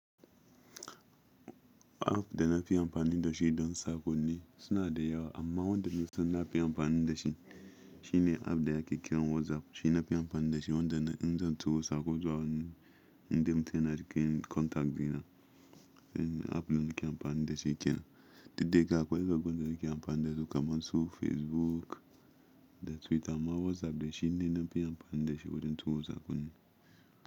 App da nafi amfani da shi don saƙonni suna da yawa amma wanda nafi son nafi amfani da shi shi ne app da yake kiran WhatsApp. Shi nafi amfani da shi wanda in zan turo saƙo zuwa waɗanda mutane da ke contact dina. App ɗin ke amfani da shi kenan didda yake akwai waɗansu da ke amfani da su kamar su Facebook da Twitter amma WhatsApp da shi ne nafi amfani da shi wajen tso saƙonni.